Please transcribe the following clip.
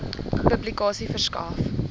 publikasie verskaf